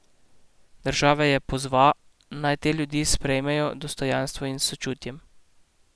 Države je pozva, naj te ljudi sprejmejo dostojno in s sočutjem.